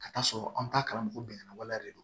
Ka taa sɔrɔ an ta karamɔgɔ bɛnganya de do